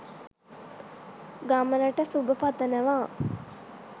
ගමනට සුබ පතනවා